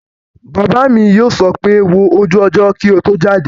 Bàbá mi yóò sọ pé 'wo ojú ọjọ́ kí o tó jáde'